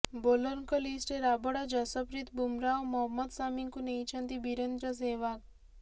ବୋଲରଙ୍କ ଲିଷ୍ଟରେ ରାବଡା ଜସପ୍ରୀତ ବୁମରା ଓ ମହମ୍ମଦ ଶାମିଙ୍କୁ ନେଇଛନ୍ତି ବିରେନ୍ଦ୍ର ସେହ୍ବାଗ